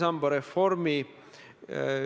Aitäh!